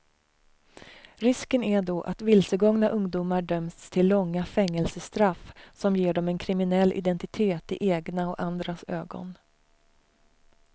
Risken är då att vilsegångna ungdomar döms till långa fängelsestraff som ger dem en kriminell identitet i egna och andras ögon.